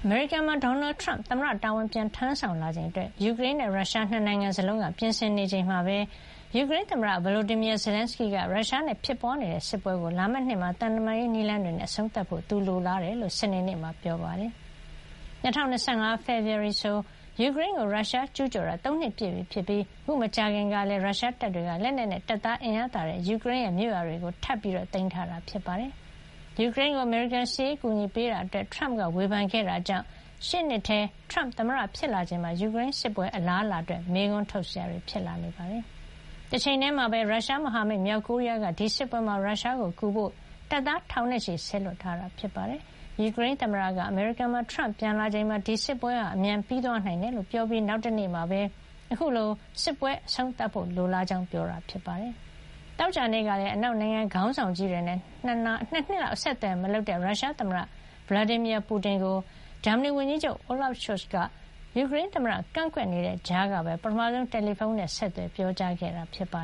မေရိကန်မှာ ဒေါ်နယ်ထရမ့် သမ္မတ တာဝန် ပြန်ထမ်းဆောင်လာချိန်အတွက် ယူကရိန်းနဲ့ ရုရှား ၂ နိုင်ငံစလုံးက ပြင်ဆင်နေချိန်မှာပဲ ယူကရိန်းသမ္မတ Volodymyr Zelensky က ရုရှားနဲ့ ဖြစ်ပွါးနေတဲ့စစ်ပွဲကို လာမယ့်နှစ်ထဲမှာ သံတမန်ရေး နည်းလမ်းတွေနဲ့ အဆုံးသတ်ဖို့ သူလိုလားကြောင်း စနေနေ့မှာ ပြောကြားလိုက်ပါတယ်။ လာမယ့် ၂၀၂၅ ဖေဖေါ်ဝါရီလဆို ယူကရိန်းကို ရုရှားကျူးကျော်တာ ၃ နှစ်ပြည့်ပြီဖြစ်ပြီး အခုမကြာခင်လတွေ အတွင်းမှာလည်း ရုရှားတပ်တွေက လက်နက်နဲ့ တပ်သား အင်အားသာတဲ့ ယူကရိန်းရဲ့ ပိုင်နက်ထဲမှာ မြို့ရွာတွေထပ်ပြီး သိမ်းပိုက်ထားတာ ဖြစ်ပါတယ်။ ယူကရိန်းကို အမေရိကန်က စစ်ရေး အကူညီပေးနေတာအတွက် အရွေးကောက်ခံသမ္မတ ထရမ့်က ဝေဖန်ခဲ့တာကြောင့် ရှေ့နှစ်ထဲ ထရမ့်သမ္မတ ဖြစ်လာချိန်မှာ ယူကရိန်းစစ်ပွဲ အလားအလာအတွက် မေးခွန်းထုတ်စရာ ဖြစ်လာနေတာပါ။ တချိန်ထဲမှာပဲ ရုရှားမဟာမိတ် မြောက်ကိုရီးယားက ဒီစစ်ပွဲမှာ ရုရှားပိုင်နက် Kursk ဒေသထဲ ရောက်နေတဲ့ ယူကရိန်းတွေကို တိုက်ထုတ်ပြီး ရုရှားကိုကူညီဖို့ တပ်သားထောင်နဲ့ချီ စေလွှတ်ထားတယ်လို့ အနောက်မဟာမိတ်တွေက ပြောပါတယ်။ ယူကရိန်းသမ္မတက အမေရိကန်မှာ ထရမ့် သမ္မတတာဝန် ပြန်ယူလာချိန်မှာ ဒီစစ်ပွဲဟာ အမြန်ပြီးသွားနိုင်တယ်လို့ ပြောခဲ့ပြီး နောက်တနေ့မှာပဲ အခုလို စစ်ပွဲအဆုံးသတ်ဖို့ လိုလားကြောင်း ပြောကြားခဲ့တာဖြစ်ပါတယ်။ သောကြာနေ့ကလည်း အနောက်နိုင်ငံခေါင်းဆောင်ကြီးတွေနဲ့ ၂ နှစ်လောက် အဆက်အသွယ်မလုပ်တဲ့ ရုရှားသမ္မတ Vladimir Putin ကို ဂျာမနီဝန်ကြီးချုပ် Olaf Scholz က ယူကရိန်းသမ္မတ ကန့်ကွက်တဲ့ကြားကပဲ ပထမဆုံး တယ်လီဖုံးဆက်သွယ် ပြောကြားခဲ့တာပါ